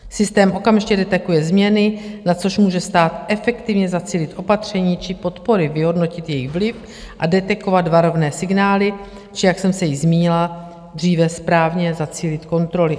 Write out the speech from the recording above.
Systém okamžitě detekuje změny, na což může stát efektivně zacílit opatření či podpory, vyhodnotit jejich vliv a detekovat varovné signály či - jak jsem se již zmínila dříve - správně zacílit kontroly.